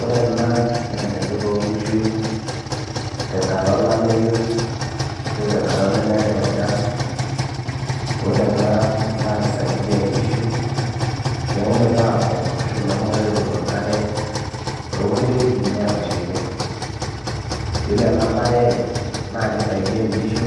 ore ena naa enaidurra oonkishu tenkata olameyu ashu tenkata nemeetay enchan ore ena naa kisaidiyia inkishu mehomoito aapok ashu mehomoito aing'oru enkare toonkulie wuejitin neetashaikia yiolo ena baye naa kisaidiyia inkishu